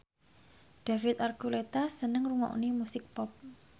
David Archuletta seneng ngrungokne musik pop